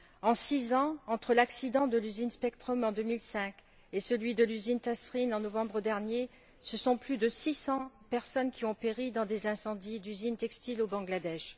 En 6 ans, entre l'accident de l'usine Spectrum, en 2005, et celui de l'usine Tazreen Fashions, en novembre dernier, ce sont plus de 600 personnes qui ont péri dans des incendies d'usines textiles, au Bangladesh.